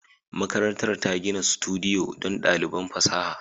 Makarantar ta gina sudiyo don ɗaliban fasaha